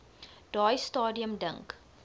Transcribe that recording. daai stadium dink